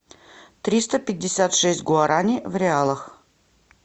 триста пятьдесят шесть гуарани в реалах